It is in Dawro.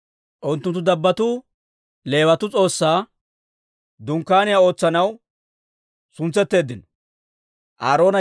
Unttunttu dabbotuu Leewatuu S'oossaa Dunkkaaniyaw ootsanaw suntsetteeddino.